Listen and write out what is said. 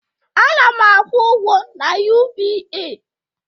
Ana m akwụ ụgwọ na UBA